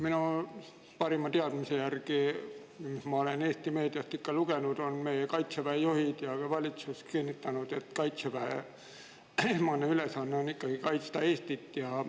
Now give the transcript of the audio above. Minu parima teadmise järgi on nii – olen seda Eesti meediast lugenud –, et Kaitseväe juhid ja valitsus on kinnitanud: Kaitseväe esmane ülesanne on ikkagi kaitsta Eestit.